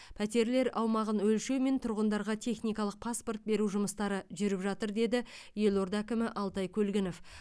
пәтерлер аумағын өлшеу мен тұрғындарға техникалық паспорт беру жұмыстары жүріп жатыр деді елорда әкімі алтай көлгінов